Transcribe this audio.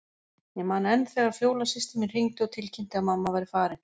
Ég man enn þegar Fjóla systir mín hringdi og tilkynnti að mamma væri farin.